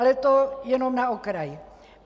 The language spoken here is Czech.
Ale to jenom na okraj.